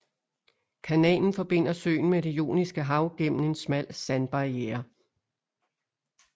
Kanalen forbinder søen med Det Ioniske Hav gennem en smal sandbarierre